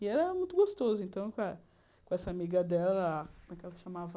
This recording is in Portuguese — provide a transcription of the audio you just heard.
E era muito gostoso, então, com eh com essa amiga dela, como é que ela se chamava?